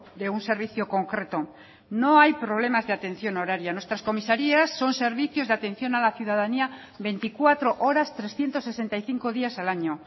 de un servicio concreto no hay problemas de atención horaria nuestras comisarías son servicios de atención a la ciudadanía veinticuatro horas trescientos sesenta y cinco días al año